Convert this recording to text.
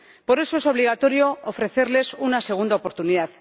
Por eso, es obligatorio ofrecerles una segunda oportunidad.